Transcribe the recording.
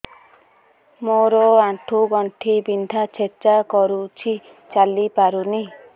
ମୋର ଆଣ୍ଠୁ ଗଣ୍ଠି ବିନ୍ଧା ଛେଚା କରୁଛି ଚାଲି ପାରୁନି